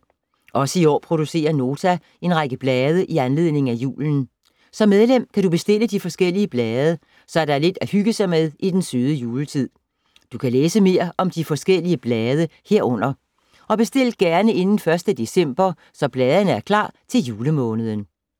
Også i år producerer Nota en række blade i anledning af julen. Som medlem kan du bestille de forskellige blade, så der er lidt at hygge sig med i den søde juletid. Du kan læse mere om de forskellige blade herunder. Og bestil gerne inden 1. december, så bladene er klar til julemåneden.